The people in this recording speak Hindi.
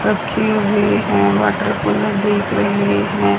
रखी हुई हैं वाटरकुलर दिख रहे हैं।